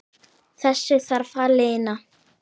Þessu þarf að linna.